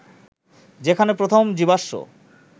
যেখানে প্রথম জীবাশ্ম